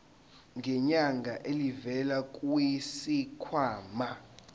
ngenyanga elivela kwisikhwama